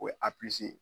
O ye